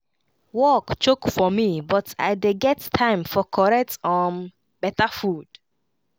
work choke for me but i dey get time for correct um beta food